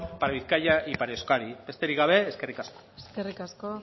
para bizkaia y para euskadi besterik gabe eskerrik asko eskerrik asko